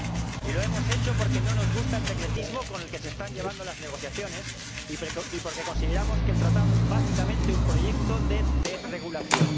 Y lo hemos hecho porque no nos gusta el secretismo con el que se están llevando las negociaciones y porque consideramos que el tratado es, básicamente, un proyecto de desregulación.